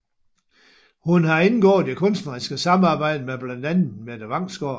Hun har indgået i kunstneriske samarbejder med blandt andet Mette Vangsgaard